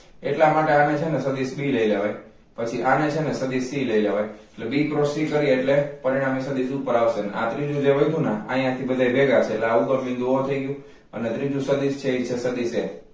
એટલા માટે આને છે ને સદિસ b લઈ લેવાય પછી આને છે નેસદિસ c લઈ લેવાય એટલે b cros c કરીએ એટલે પરિણમી સદિસ ઉપર આવશે અને આ ત્રીજું જે વધ્યું ને આ આયાથી બધા ભેગા છે એટલે ઉગમાબિંદુ o થઈ ગયુ એટલે ત્રીજું સદિસ છે એ